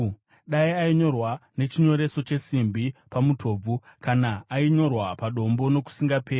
dai ainyorwa nechinyoreso chesimbi pamutobvu, kana kuti ainyorwa padombo nokusingaperi!